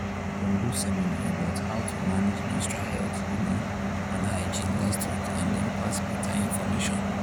them do seminar about how to manage menstrual health you know and hygiene last week and them pass better information